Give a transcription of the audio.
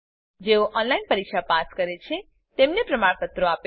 જેઓ ઓનલાઈન પરીક્ષા પાસ કરે છે તેઓને પ્રમાણપત્રો આપે છે